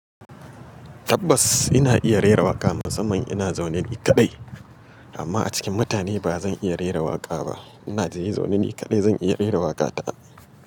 Tabbas ina iya rera waƙa musamman ina zaune ni kaɗai, amma a cikin mutane ba zan iya rera waƙa ba. Ina je zaune ni kaɗai zan iya rera waƙa ta.